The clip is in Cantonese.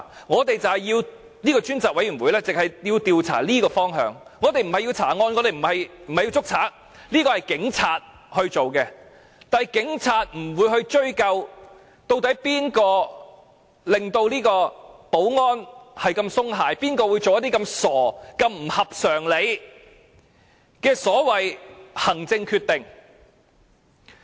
立法會的專責委員會只是要調查這方向，我們不是要調查案件和拘捕犯人，這應由警察處理，但警察不會追究誰令保安系統鬆懈，誰會作出這麼傻、這麼不合常理的所謂行政決定？